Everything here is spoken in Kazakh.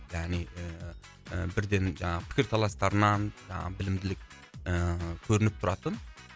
яғни ііі бірден жаңағы пікірталастарынан жаңағы білімділік ііі көрініп тұратын